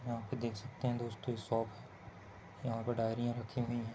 यहा पे देख सकते है दोस्तों शॉप है यहा पे डायरियां रखी हुई है।